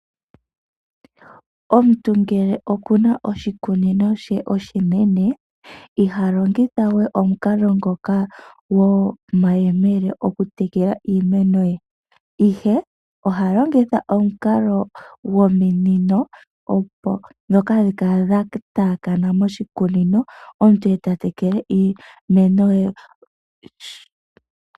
Omuntu ngele okuna oshikunino she oshinene ihalongitha we omukalo ngoka gomayemele okutekela iimeno ye , ohalongitha omukalo gomunino dhoka hadhi kala dhataakana moshikunino omuntu eta tekele iimeno ye.